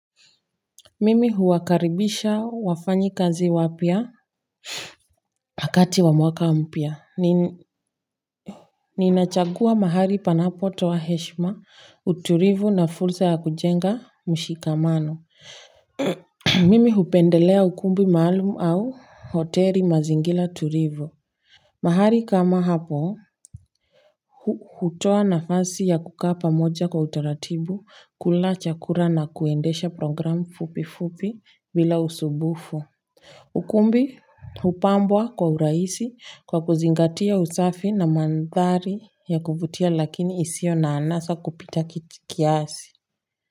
Mimi huwakaribisha wafanyakazi wapya wakati wa mwaka mpya. Ninachagua mahali panapo toa heshma utulivu na fursa ya kujenga mshikamano mimi hupendelea ukumbi maalum au hotel mazingira tulivu mahali kama hapo hutoa nafasi ya kukaa pamoja kwa utaratibu kula chakula na kuendesha program fupi fupi bila usubufu. Ukumbi hupambwa kwa urahisi kwa kuzingatia usafi na mandhari ya kuvutia lakini isio na anasa kupita kiasi.